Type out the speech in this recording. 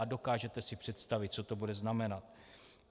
A dokážete si představit, co to bude znamenat.